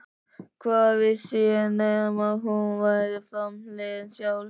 Hvað vissi ég nema hún væri framliðin sjálf?